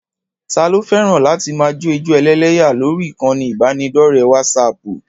Taa ló fẹ́ràn láti máa jó ijó ẹlẹ́yà lórí ìkànnì ìbánidọ́ọ̀rẹ́ wásaaàpù?